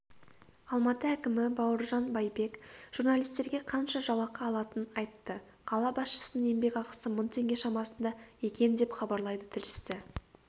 алматы әкімі бауыржан байбек журналистерге қанша жалақы алатынын айтты қала басшысының еңбекақысы мың теңге шамасында екен деп хабарлайды тілшісі